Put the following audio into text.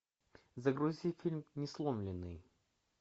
загрузи фильм несломленный